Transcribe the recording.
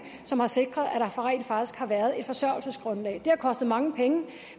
som har sikret at der rent faktisk har været et forsørgelsesgrundlag det har kostet mange penge